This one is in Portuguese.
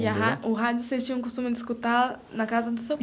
E a ra o rádio vocês tinham o costume de escutar na casa do seu.